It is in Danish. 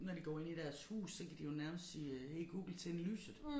Når de går ind i deres hus så kan de jo nærmest sige øh hey Google tænde lyset